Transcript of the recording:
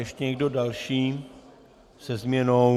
Ještě někdo další se změnou?